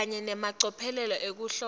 kanye nemacophelo ekuhlola